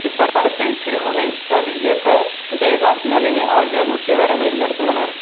இப்படத்தை சிறுமுகை ரவி இயக்க விசயகாந்து நளினி ஆகியோர் முக்கிய வேடங்களில் நடித்துள்ளனர்